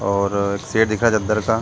और दिखा चद्दर सा --